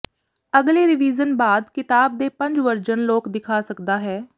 ਅਗਲੇ ਰੀਵਿਜ਼ਨ ਬਾਅਦ ਕਿਤਾਬ ਦੇ ਪੰਜ ਵਰਜਨ ਲੋਕ ਦਿਖਾ ਸਕਦਾ ਹੈ